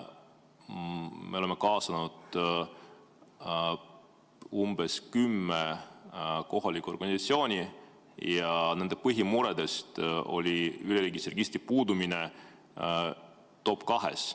Me oleme kaasanud umbes kümme kohalikku organisatsiooni ja nende põhimuredest oli üleriigilise registri puudumine top-2-s.